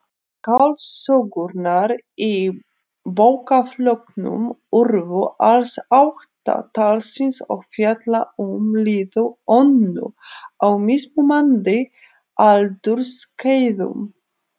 Skáldsögurnar í bókaflokknum urðu alls átta talsins og fjalla um líf Önnu á mismunandi aldursskeiðum.